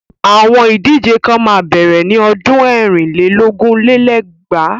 Àwọn Ìdíje kan máa bẹ̀rẹ̀ ni ọdún ẹ̀rin lé lógún lé lẹ́gbàá.